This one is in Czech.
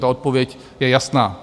Ta odpověď je jasná.